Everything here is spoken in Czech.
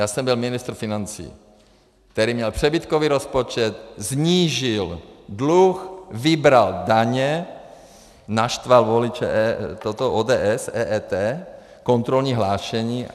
Já jsem byl ministr financí, který měl přebytkový rozpočet, snížil dluh, vybral daně, naštval voliče ODS - EET, kontrolní hlášení.